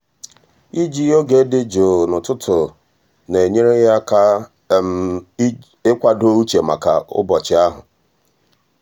iji oge dị jụụ n'ụtụtụ na-enyere ya aka ịkwado uche maka ụbọchị ahụ.